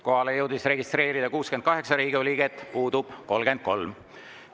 Kohalolijaks jõudis registreeruda 68 Riigikogu liiget, puudub 33.